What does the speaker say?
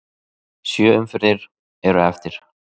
Sjö umferðir eru eftir.